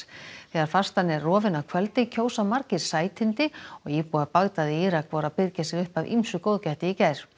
þegar fastan er rofin að kvöldi kjósa margir sætindi og íbúar í Írak voru að byrgja sig upp af ýmsu góðgæti í gær